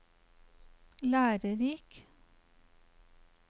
lærerik